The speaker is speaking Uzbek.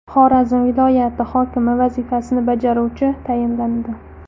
Xorazm viloyati hokimi vazifasini bajaruvchi tayinlandi.